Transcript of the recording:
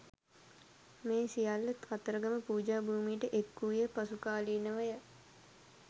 මේ සියල්ල කතරගම පූජාභූමියට එක් වූයේ පසු කාලීනව ය.